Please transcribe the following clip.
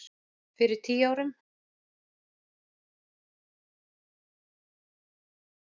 Fyrir tíu árum.